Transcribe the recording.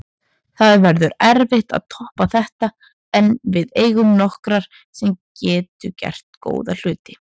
Það verður erfitt að toppa þetta en við eigum nokkur sem gætu gert góða hluti.